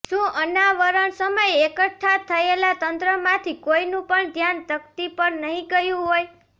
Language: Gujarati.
શું અનાવરણ સમયે એકઠા થયેલા તંત્રમાંથી કોઇનું પણ ધ્યાન તકતી પર નહીં ગયું હોય